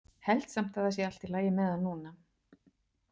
Held samt að það sé allt í lagi með hann núna.